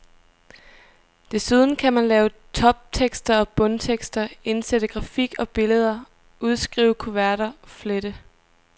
Desuden kan man lave toptekster og bundtekster, indsætte grafik og billeder, udskrive kuverter, flette.